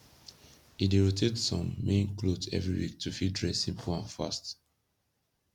he dey rotate som main kloth evry week to fit dress simpol and fast